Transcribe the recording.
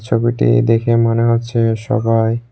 ছবিটি দেখে মনে হচ্ছে সবাই--